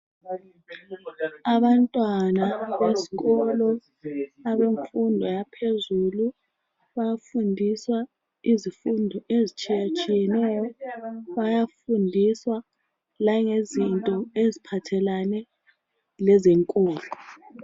Abantwana besikolo ,abenfundo yaphezulu. bayafundiswa izifundo ezitshiyatshiyeneyo. Bayafundiswa langezinto eziphathelane lezenkolo.